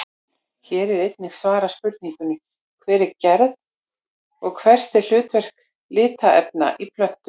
Hér er einnig svarað spurningunni Hver er gerð og hvert er hlutverk litarefna í plöntum?